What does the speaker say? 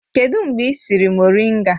Kedụ mgbe ị siri moringa?